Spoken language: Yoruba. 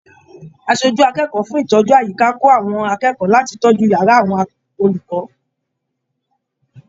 Aṣojú akẹ́kọ̀ọ́ fún ìtọ́jú àyíká kò àwọn akẹ́kọ̀ọ́ láti tọjú yàrá àwọn olùkọ.